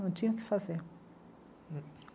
Não tinha o que fazer.